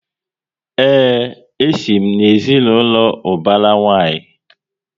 Ee, e si m na ezinaụlọ ubara nwanyi